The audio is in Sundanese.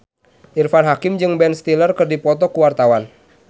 Irfan Hakim jeung Ben Stiller keur dipoto ku wartawan